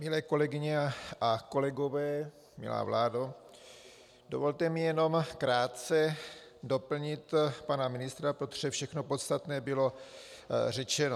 Milé kolegyně a kolegové, milá vládo, dovolte mi jenom krátce doplnit pana ministra, protože všechno podstatné bylo řečeno.